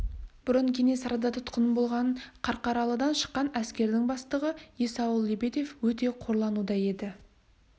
бұрын кенесарыда тұтқын болған қарқаралыдан шыққан әскердің бастығы есауыл лебедев өте қорлануда еді